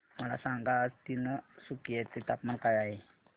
मला सांगा आज तिनसुकिया चे तापमान काय आहे